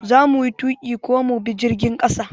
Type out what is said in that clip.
Za muyi tuƙi ko mu bi jirgin ƙasa?